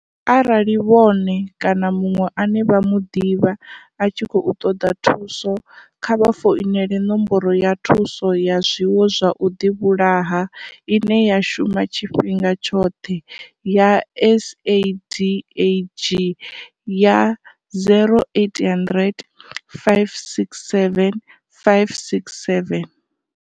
Arali vhone kana muṅwe ane vha mu ḓivha a tshi khou ṱoḓa thuso, kha vha founele nomboro ya thuso ya zwiwo zwa u ḓivhulaha ine ya shuma tshifhinga tshoṱhe ya SADAG ya 0800 567 567.